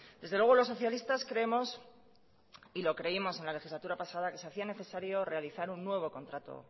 desde luego los socialistas creemos y lo creímos en la legislatura pasada que se hacía necesario realizar un nuevo contrato